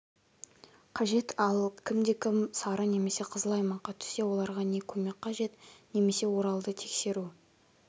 қажет ал кімде-кім сары немесе қызыл аймаққа түссе оларға не көмек қажет немесе оралды тескеру